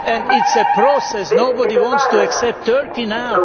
It is a process nobody wants to accept Turkey now.